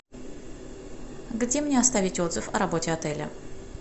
где мне оставить отзыв о работе отеля